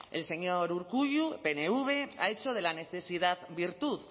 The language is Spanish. el señor urkullu pnv ha hecho de la necesidad virtud